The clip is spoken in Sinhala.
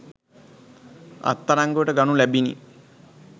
අත්අඩංගුවට ගනු ලැබිණි.